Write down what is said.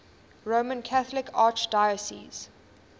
roman catholic archdiocese